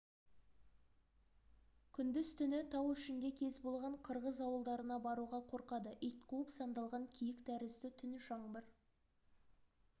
күндіз-түні тау ішінде кез болған қырғыз ауылдарына баруға қорқады ит қуып сандалған киік тәрізді түн жаңбыр